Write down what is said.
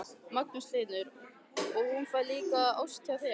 Magnús Hlynur: Og hún fær líka ost hjá þér?